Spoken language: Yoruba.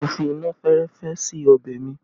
Mo fi iná fẹ́rẹ́fẹ́ sí ọbẹ̀ mi